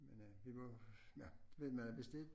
Men øh vi må ja men hvad hvis det